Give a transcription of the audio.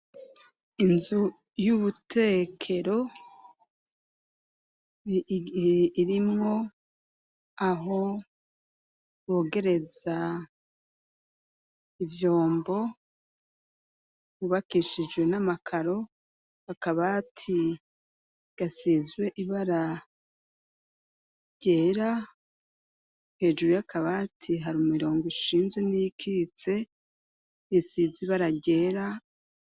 Inzu y'ubutekero ig irimwo aho bogereza ivyombo mubakishijwe n'amakaro bakabati gasizwe ibara ryera hejuru yakabati hari mu mirongo ishinze n'ikitse isizibara ryera.